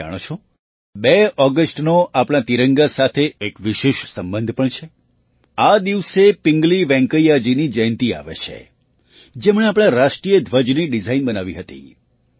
શું તમે જાણો છો ૨ ઑગસ્ટનો આપણા તિરંગા સાથે એક વિશેષ સંબંધ પણ છે આ દિવસે પિંગલી વેંકૈયાજીની જયંતી આવે છે જેમણે આપણા રાષ્ટ્રીય ધ્વજની ડિઝાઇન બનાવી હતી